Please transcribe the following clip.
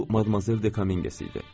Bu Madmazel de Kamingsi idi.